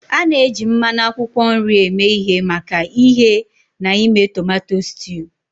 A na-eji mmanụ akwụkwọ nri eme ihe maka ighe na ime tomato stew.